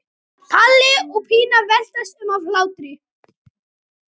Palli og Pína veltast um af hlátri.